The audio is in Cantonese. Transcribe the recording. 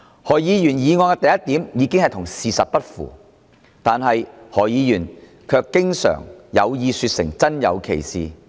何議員議案的第一點已經與事實不符，但何議員卻經常有意說成真有其事。